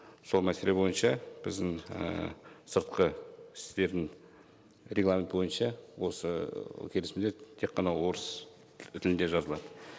сол мәселе бойынша біздің ііі сыртқы істердің регламенті бойынша осы келісімдер тек қана орыс тілінде жазылады